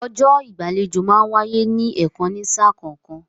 Ọjọ́ ìgbàlejò máa ń wáyé ní ẹ̀kan ní sà kọ̀ọ̀kan